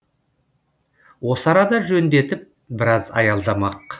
осы арада жөндетіп біраз аялдамақ